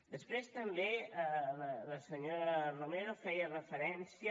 després també la senyora romero feia referència